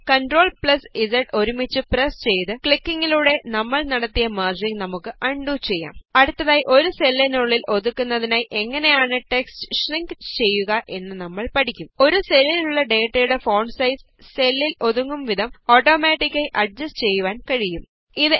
ഇപ്പോള് CTRLZ ഒരുമിച്ച് press ചെയ്ത് ക്ലിക്കിംഗിലൂടെ നമ്മള് നടത്തിയ മെര്ജിംഗ് നമുക്ക് ആണ്ഡു ചെയ്യാം അടുത്തതായി ഒരു സെല്ലിനുള്ളില് ഒതുക്കുന്നതിനായി എങ്ങനെയാണ് ടെക്സ്റ്റ് ഷ്രിങ്ക് ചെയ്യുക എന്ന് നമ്മള് പഠിക്കും ഒരു സെല്ലിലുള്ള ഡേറ്റയുടെ ഫോണ്ട് സൈസ് സെല്ലില് ഒത്തുങ്ങുംവിധം ഓട്ടോമാറ്റിക് ആയി അഡ്ജസ്റ്റ് ചെയ്യുവാന് കഴിയും